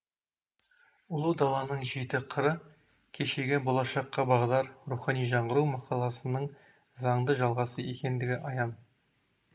ұлы даланың жеті қыры кешегі болашаққа бағдар рухани жаңғыру мақаласының заңды жалғасы екендігі аян